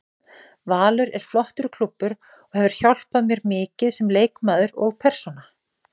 Valur er flottur klúbbur og hefur hjálpað mér mikið sem leikmaður og persónu.